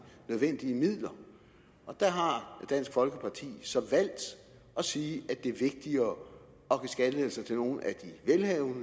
nødvendige midler og der har dansk folkeparti så valgt at sige at det er vigtigere at give skattelettelser til nogle af de velhavende og